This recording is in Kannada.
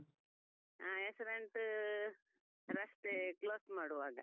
ಹಾ, accident ರಸ್ತೆ cross ಮಾಡುವಾಗ.